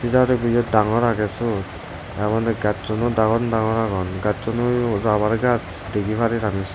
fisharibo yo dangor aage siyot te unni gaj suno dangor dangor agon gaj suno jabar gaj digiparir ami sot.